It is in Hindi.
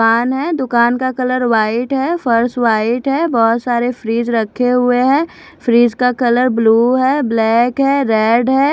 दुकान है दुकान का कलर व्हाइट है फर्श व्हाइट है बहुत सारे फ्रीज रखे हुए है फ्रीज का कलर ब्लू है ब्लैक है रेड है।